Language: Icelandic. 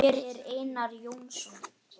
Hver er Einar Jónsson?